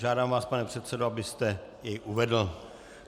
Žádám vás, pane předsedo, abyste bod uvedl.